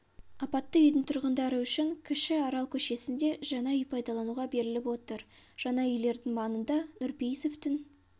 апатты үйдің тұрғындары үшін кіші арал көшесінде жаңа үй пайдалануға беріліп отыр жаңа үйлердің маңында нұрпейісовтің